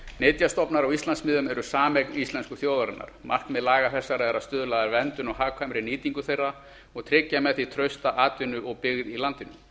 nytjastofnar á íslandsmiðum eru sameign íslensku þjóðarinnar markmið laga þessara er að stuðla að verndun og hagkvæmri nýtingu þeirra og tryggja með því trausta atvinnu og byggð í landinu